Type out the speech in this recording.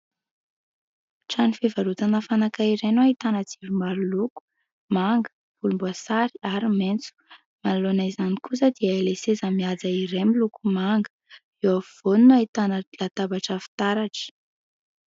Trano fivarotana fanaka iray no ahitana jiro maro loko : manga, volomboasary, ary maitso. Manaloana izany kosa dia ilay seza mihaja iray, miloko manga. Eo afovoany no ahitana latabatra fitaratra.